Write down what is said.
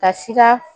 Ka sika